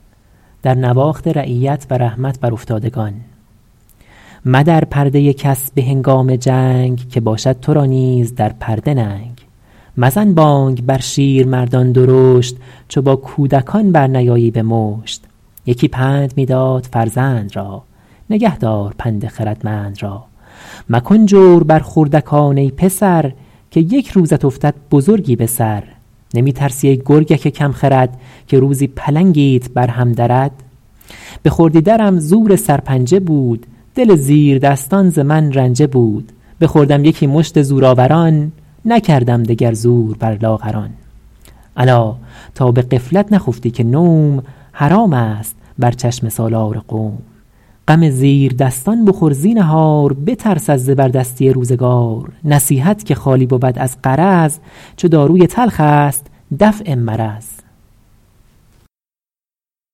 مدر پرده کس به هنگام جنگ که باشد تو را نیز در پرده ننگ مزن بانگ بر شیرمردان درشت چو با کودکان برنیایی به مشت یکی پند می داد فرزند را نگه دار پند خردمند را مکن جور بر خردکان ای پسر که یک روزت افتد بزرگی به سر نمی ترسی ای گرگک کم خرد که روزی پلنگیت بر هم درد به خردی درم زور سرپنجه بود دل زیردستان ز من رنجه بود بخوردم یکی مشت زورآوران نکردم دگر زور بر لاغران الا تا به غفلت نخفتی که نوم حرام است بر چشم سالار قوم غم زیردستان بخور زینهار بترس از زبردستی روزگار نصیحت که خالی بود از غرض چو داروی تلخ است دفع مرض